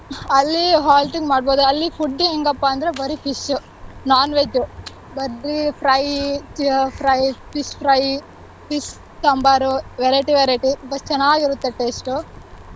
ಅಲ್ಲಿ halting ಮಾಡ್ಬೋದು, ಅಲ್ಲಿ food ಹೆಂಗಪ್ಪಾಂದ್ರೆ ಬರೀ fish, non-veg ಬರೀ fry, fry fish fry, fish sambar, variety, variety but ಚೆನ್ನಾಗಿರುತ್ತೆ taste ಉ.